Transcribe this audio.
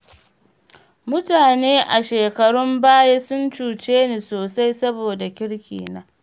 Mutane a shekarun baya sun cuce ni sosai saboda kirkina.